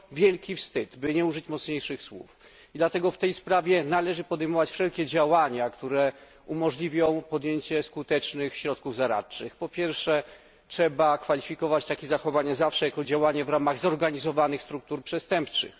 To wielki wstyd, by nie użyć mocniejszych słów, i dlatego w tej sprawie należy podejmować wszelkie działania, które umożliwią podjęcie skutecznych środków zaradczych. Po pierwsze, trzeba kwalifikować takie zachowania zawsze jako działania w ramach zorganizowanych struktur przestępczych.